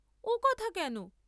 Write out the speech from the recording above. ও কথা কেন?